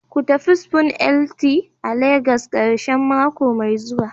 Ku tafi spoon It a Legas a karshen mako mai zuwa